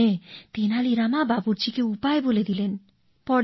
শুনে তেনালী রাম বাবুর্চিকে উপায় বলে দিলেন